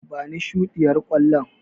Bani shuɗiyar ƙwallon.